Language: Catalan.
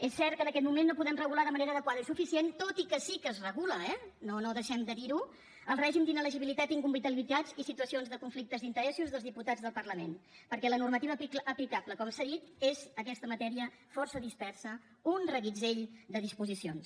és cert que en aquest moment no podem regular de manera adequada i suficient tot i que sí que es regula eh no deixem de dir ho el règim d’inelegibilitat i incompatibilitat i situacions de conflictes d’interessos dels diputats del parlament perquè la normativa aplicable com s’ha dit és aquesta matèria força dispersa un reguitzell de disposicions